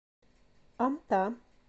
амта